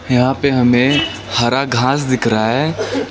यहां पे हमें हरा घास दिख रहा है।